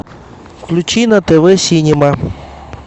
включи на тв синема